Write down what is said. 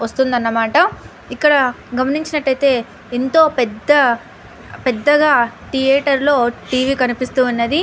వస్తుందన్నమాట ఇక్కడ గమించినట్టయితే ఎంతో పెద్ద పెద్దగా థియేటర్ లో టీవీ కనిపిస్తున్నది.